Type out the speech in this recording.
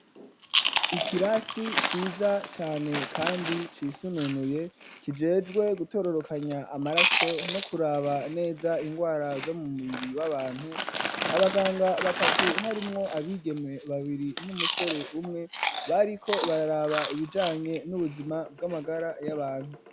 Ikirasi ciza cane, kandi, cisununuye, kijejwe gutororokanya amaraso, no kuraba neza ingwara, zo mu mubiri w'abantu; abaganga batatu, harimwo abigeme babiri, n'umusore umwe, bariko bararaba, ibijanye n'ubuzima, bw'amagara y'abantu.